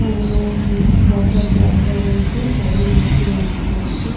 অ্যাম বসার জায়গা রয়েছে সবাই বসে ওয়েট করছে।